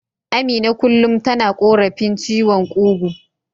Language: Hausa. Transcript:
Amina kullum tana korafin ciwon kugu.